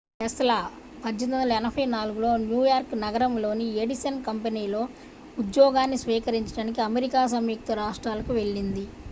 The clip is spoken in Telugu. టెస్లా 1884లో న్యూయార్క్ నగరంలోని ఎడిసన్ కంపెనీలో ఉద్యోగాన్ని స్వీకరించడానికి అమెరికా సంయుక్త రాష్ట్రాలకు వెళ్లింది